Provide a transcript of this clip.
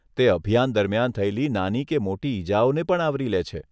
તે અભિયાન દરમિયાન થયેલી નાની કે મોટી ઇજાઓને પણ આવરી લે છે.